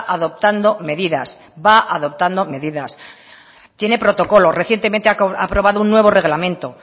adoptando medidas va adoptando medidas tiene protocolos recientemente ha probado un nuevo reglamento